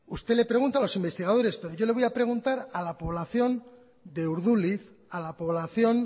usted le pregunta a los investigadores pero yo le voy a preguntar a la población de urduliz a la población